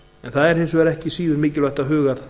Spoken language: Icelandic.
en það er ekki síður mikilvægt að huga